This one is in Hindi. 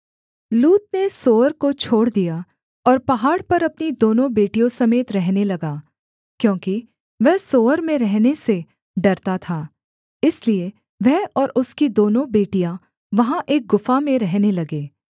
लूत ने सोअर को छोड़ दिया और पहाड़ पर अपनी दोनों बेटियों समेत रहने लगा क्योंकि वह सोअर में रहने से डरता था इसलिए वह और उसकी दोनों बेटियाँ वहाँ एक गुफा में रहने लगे